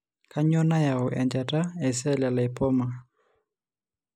Kainyio nayau enchata ecell lymphoma?